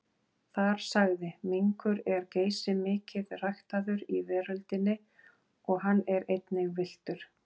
Þar sagði: Minkur er geysimikið ræktaður í veröldinni og hann er einnig villtur.